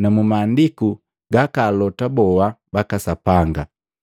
na mu maandiku gaka alota boha baka Sapanga.